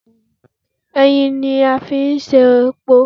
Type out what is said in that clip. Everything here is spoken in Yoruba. Ẹyìn ni a fi ṣe epo